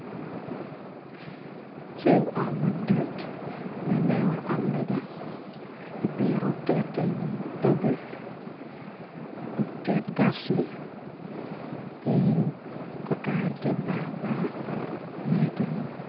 Cal ot madit ma ineno wai otlega kipito otit tye i doge otit gaci ki kakare tye barbar ngeye tye lum.